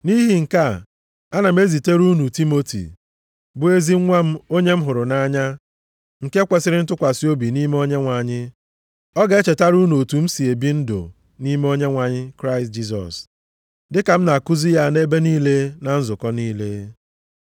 Nʼihi nke a, ana m ezitere unu Timoti, bụ ezi nwa m onye m hụrụ nʼanya, nke kwesiri ntụkwasị obi nʼime Onyenwe anyị. Ọ ga-echetara unu otu m si e bi ndụ nʼime Onyenwe anyị Kraịst Jisọs, dịka m na-akụzi ya nʼebe niile na nzukọ niile.